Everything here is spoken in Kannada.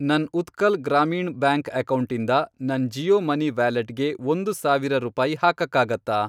ನನ್ ಉತ್ಕಲ್ ಗ್ರಾಮೀಣ್ ಬ್ಯಾಂಕ್ ಅಕೌಂಟಿಂದ ನನ್ ಜಿಯೋ ಮನಿ ವ್ಯಾಲೆಟ್ಗೆ ಒಂದು ಸಾವಿರ ರೂಪಾಯಿ ಹಾಕಕ್ಕಾಗತ್ತಾ?